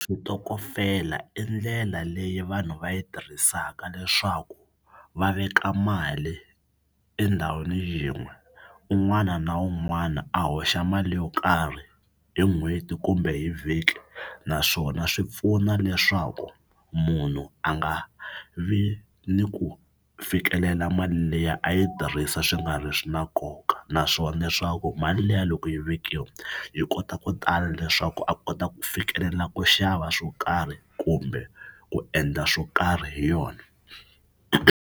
Xitokofela i ndlela leyi vanhu va yi tirhisaka leswaku va veka mali endhawini yin'we un'wana na un'wana a hoxa mali yo karhi hi n'hweti kumbe hi vhiki naswona swi pfuna leswaku munhu a nga vi ni ku fikelela mali liya a yi tirhisa swi nga ri swi na nkoka naswona leswaku mali liya loko yi vekiwa yi kota ku tala leswaku a kota ku fikelela ku xava swo karhi kumbe ku endla swo karhi hi yona.